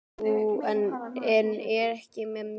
Jú, en ekki með glöðu geði.